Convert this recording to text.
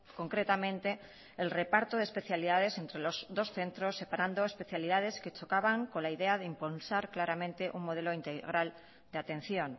concretamente el reparto de especialidades entre los dos centros separando especialidades que chocaban con la idea de impulsar claramente un modelo integral de atención